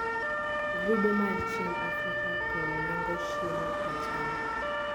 grube mar chiemb africa , pur, rango chiemo michamo